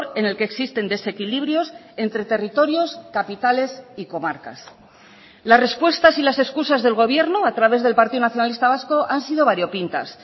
en el que existen desequilibrios entre territorios capitales y comarcas las respuestas y las excusas del gobierno a través del partido nacionalista vasco han sido variopintas